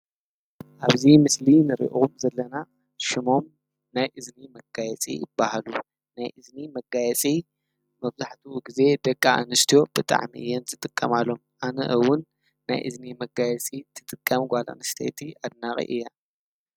ኣብዚ ምስሊ ንሪኦ ዘለና ሽሞም ናይ እዝኒ መጋየፂ ይብሃሉ። ናይ እዝኒ መጋየፂ መብዛሕትኡ ግዘ ደቂ ኣንስትዮ ብጣዕሚ እየን ዝጥቀማሎም:: ኣነ እውን ናይ እዝኒ መጋየፂ ትጥቀም ጋል ኣንሰይቲ ኣድናቂ እየ።